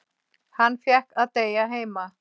Hann fékk að deyja heima.